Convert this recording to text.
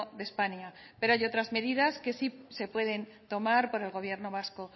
de españa pero hay otras medidas que sí se pueden tomar por el gobierno vasco